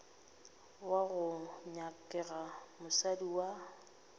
wo go nyakega mosadi wa